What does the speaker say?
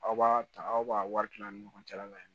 Aw b'a ta aw b'a wari kila ani ɲɔgɔn cɛ la mɛ